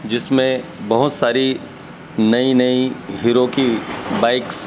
जिसमें बहोत सारी नई नई हीरों की बाइक्स --